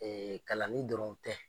Ee kalanni dɔrɔn tɛ .